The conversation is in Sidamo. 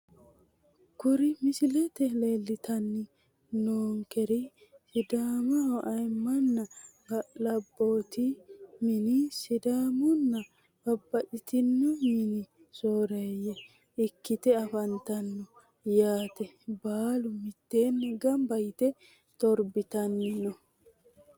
Kuri misilete leelitani noonkeri sidaamaho ayiimanna ga`laboti mini sidaamunna babaxitino mini sooreye ikite afantano yaate baalu miteeni ganba yite torbitan no.